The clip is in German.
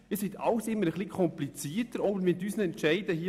Alles ist immer etwas komplizierter, auch unsere Entscheide hier.